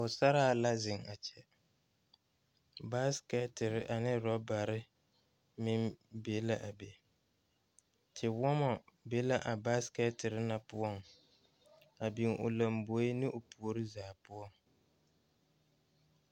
Pɔgesera la zeŋ a kyɛ ,basket ane rubber meŋ be la a be ,tewɔma be la a basket na poɔ a biŋ o laŋbeɛ ne o puori zaa poɔ.